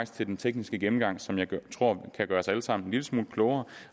til den tekniske gennemgang som jeg tror kan gøre os alle sammen en lille smule klogere